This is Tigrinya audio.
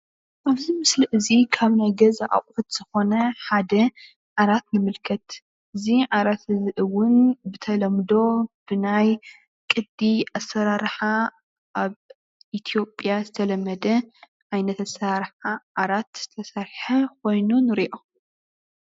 ኣብዚ ምስሊ እዚ ካብ ናይ ገዛ ኣቁሑት ዝኮነ ሓደ ዓራት ንምልከት፡፡ እዚ ዓራት እውን ብተለምዶ ብናይ ቅዲ ኣሰራርሓ ኣብ ኢትዮጵያ ዝተለመደ ዓይነት ኣሰራርሓ ዓራት ዝተሰርሓ ኮይኑ ንሪኦ፡፡